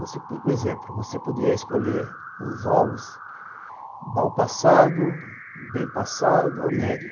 Por exemplo, você podia escolher os ovos mal passado, bem passado ou médio.